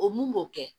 O mun b'o kɛ